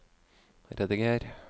rediger